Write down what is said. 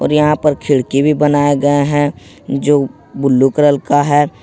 यहां पर खिड़की भी बनाए गए हैं जो ब्लू कलर का है ।